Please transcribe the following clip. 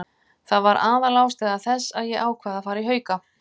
Það var aðalástæða þess að ég ákvað að fara í Hauka.